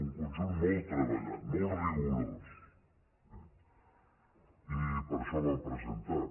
un conjunt molt treballat mot rigorós eh i per això el vam presentar